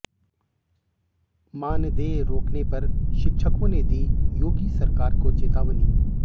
मानदेय रोकने पर शिक्षकों ने दी योगी सरकार को चेतावनी